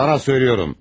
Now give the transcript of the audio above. Sənə deyirəm.